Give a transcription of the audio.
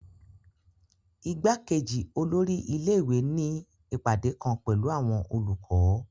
Ìgbàkejì olórí ilé ìwé ní ìpàdé kan pẹ̀lú àwọn olùkọ́